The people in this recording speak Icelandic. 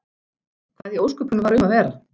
Hvað í ósköpunum var um að vera?